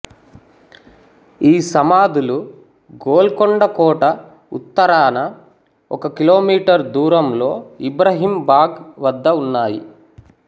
ఈ సమాధులు గోల్కొండ కోట ఉత్తరాన ఒక కిలోమీటర్ దూరంలో ఇబ్రహీం బాఘ్ వద్ద ఉన్నాయి